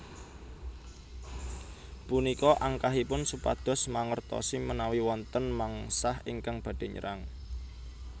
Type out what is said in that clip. Punika angkahipun supados mangertosi menawi wonten mengsah ingkang badhé nyerang